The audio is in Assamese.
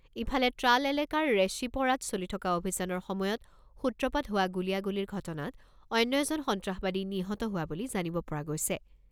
ইফালে ট্ৰাল এলেকাৰ ৰেশ্বিপ’ৰাত চলি থকা অভিযানৰ সময়ত সূত্ৰপাত হোৱা গুলীয়াগুলীৰ ঘটনাত অন্য এজন সন্ত্ৰসবাদী নিহত হোৱা বুলি জানিব পৰা গৈছে।